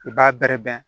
I b'a bɛrɛ bɛn